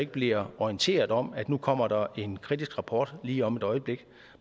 bliver orienteret om at nu kommer der en kritisk rapport lige om et øjeblik